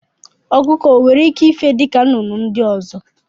Ọkụkọ onwere ike ife n'elu dịka nnụnụ ndị ọzọ?